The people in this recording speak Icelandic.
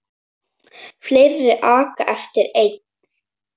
Fleiri aka eftir einn.